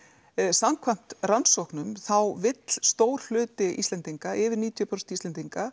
samkvæmt rannsóknum þá vill stór hluti Íslendinga yfir níutíu prósent Íslendinga